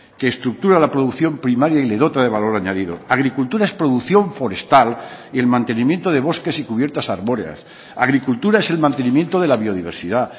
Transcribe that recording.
que estructura la producción primaria y le dota de valor añadido agricultura es producción forestal y el mantenimiento de bosques y cubiertas arbóreas agricultura es el mantenimiento de la biodiversidad